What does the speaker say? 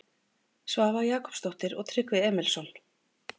Svava Jakobsdóttir og Tryggvi Emilsson.